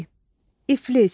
İ iflic.